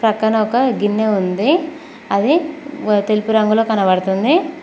పక్కన ఒక గిన్నె ఉంది అది గు తెలుపు రంగులొ కనబడుతుంది.